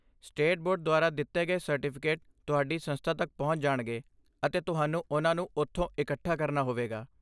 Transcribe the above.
State board ਦੁਆਰਾ ਦਿੱਤੇ ਗਏ ਸਰਟੀਫਿਕੇਟ ਤੁਹਾਡੀ ਸੰਸਥਾ ਤੱਕ ਪਹੁੰਚ ਜਾਣਗੇ, ਅਤੇ ਤੁਹਾਨੂੰ ਉਨ੍ਹਾਂ ਨੂੰ ਉਥੋਂ ਇਕੱਠਾ ਕਰਨਾ ਹੋਵੇਗਾ।